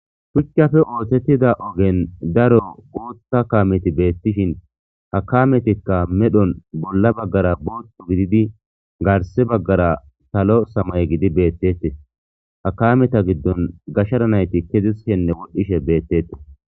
shuchcafe oothettida ogen daro gootta kaameti beettishin hakametikka medhon bolla baggara bootu gididi garse baggara salo samay gidi beettetes hakameta giddon gashshara nayti kezis henne wodhdhishe beettetes